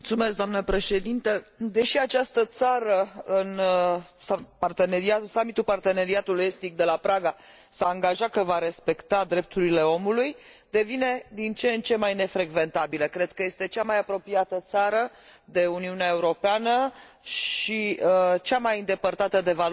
Deși această țară s a angajat, în summitul Parteneriatului Estic de la Praga, că va respecta drepturile omului, devine din ce în ce mai nefrecventabilă. Cred că este cea mai apropiată țară de Uniunea Europeană și cea mai îndepărtată de valorile europene.